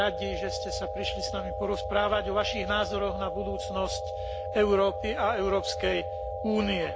Sme radi, že ste sa prišli s nami porozprávať o Vašich názoroch na budúcnosť Európy a Európskej únie.